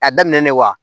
A daminɛ na wa